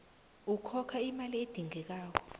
ukhokha imali edingekako